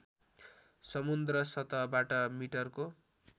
समुद्र सतहबाट मिटरको